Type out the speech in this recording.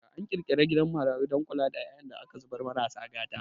An ƙirƙiri gidan marayu don kula da ƴaƴan da aka zubar marasa gata